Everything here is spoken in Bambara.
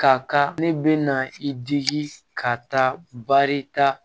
Ka kan ne be na i digi ka taa baari ta